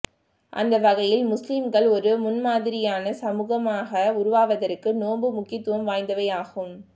அந்த வகையில் முஸ்லிம்கள் ஒரு முன்மாதரியான சமூகமாக உருவாவதற்கு நோன்பு முக்கியத்துவம் வாய்ந்தவையாகும்